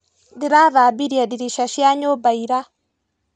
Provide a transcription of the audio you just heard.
Ndirathambirie ndirica cia nyũmba ira.